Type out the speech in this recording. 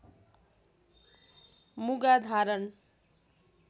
मुगा धारण